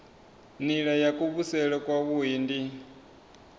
nila ya kuvhusele kwavhui ndi